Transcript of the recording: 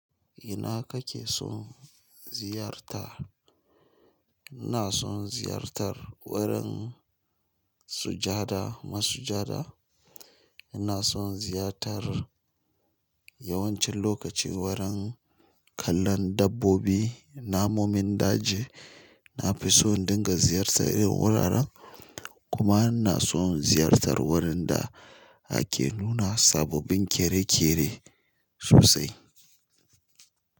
Ina kake son ziyarta? Ina son ziyartar wurin sujada masujada. Ina son ziyartar yawancin lokaci wurin kallon dabbobi, namomin daji. Na fi so in dinga ziyartar irin wuraren, kuma ina son ziyartar wurin da ake nuna sababbin kere-kere sosai.